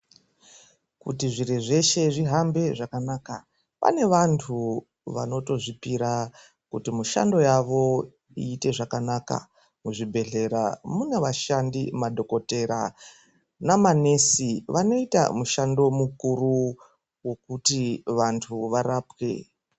Kuti zviro zveshe zvihambe zvakanaka pane vantu vanotozvipira mishando yavo iite zvakanaka. Muzvibhedhlera mune vashandi madhokodheya nemanesi vanoita mushando mukuru wokuti vantu varapwe.